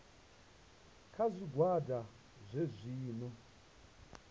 kha zwigwada zwohe zwi no